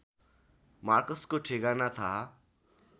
मार्कसको ठेगाना थाहा